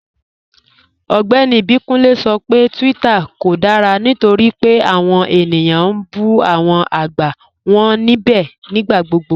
Ọgbẹ́ni Ibikunle sọ pé Twitter kò dára nítorí pé awọn ènìyàn n bú awọn agbá wọn nibẹ̀ nigbàgbọ̀gbọ̀.